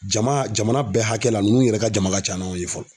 Jama jamana bɛɛ hakɛ la ninnu yɛrɛ ka jama ka ca n'anw ye fɔlɔ.